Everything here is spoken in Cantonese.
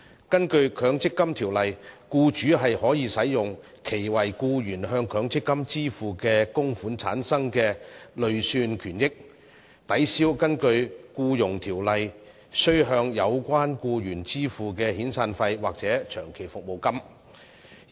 根據《強制性公積金計劃條例》，僱主可使用其為僱員向強積金支付的供款產生的累算權益，抵銷根據《僱傭條例》須向有關僱員支付的遣散費或長期服務金。